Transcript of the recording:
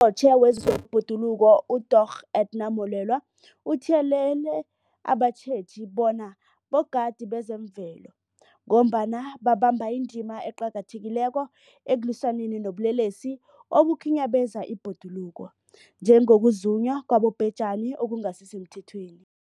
UNgqongqotjhe wezeBhoduluko uDorh Edna Molewa uthiyelele abatjheji bona bogadi bezemvelo, ngombana babamba indima eqakathekileko ekulwisaneni nobulelesi obukhinyabeza ibhoduluko, njengokuzunywa kwabobhejani okungasisemthethweni.